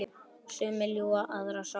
Sumar ljúfar aðrar sárar.